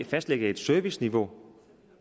fastlægge et serviceniveau